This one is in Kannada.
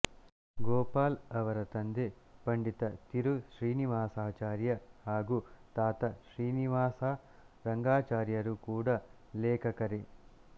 ಗೋಪಾಲ್ ಅವರ ತಂದೆ ಪಂಡಿತ ತಿರು ಶ್ರೀನಿವಾಸಾಚಾರ್ಯ ಹಾಗೂ ತಾತ ಶ್ರೀನಿವಾಸರಂಗಾಚಾರ್ಯರು ಕೂಡ ಲೇಖಕರೇ